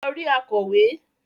lọ rí “akọ̀wé”.